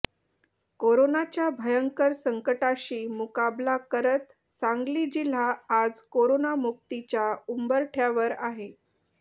कोरोनाच्या भयंकर संकटाशी मुकाबला करत सांगली जिल्हा आज कोरोना मुक्तीच्या उंबरठ्यावर आहे